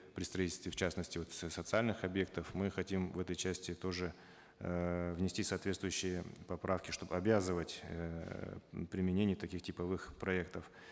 при строительстве в частности вот социальных объектов мы хотим в этой части тоже эээ внести соответствующие поправки чтобы обязывать эээ применение таких типовых проектов